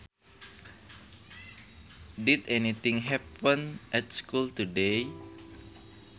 Did anything happen at school today